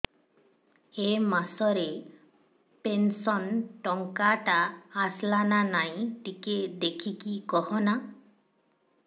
ଏ ମାସ ରେ ପେନସନ ଟଙ୍କା ଟା ଆସଲା ନା ନାଇଁ ଟିକେ ଦେଖିକି କହନା